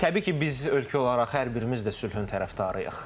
Təbii ki, biz ölkə olaraq hər birimiz də sülhün tərəfdarıyıq.